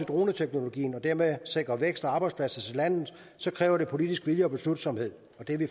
droneteknologien og dermed sikre vækst og arbejdspladser til landet kræver det politisk vilje og beslutsomhed og det er vi